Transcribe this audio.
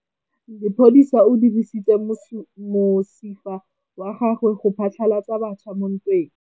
Lepodisa le dirisitse mosifa wa gagwe go phatlalatsa batšha mo ntweng.